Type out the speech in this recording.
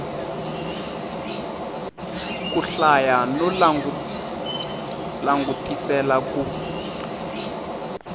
ku hlaya no langutisela ku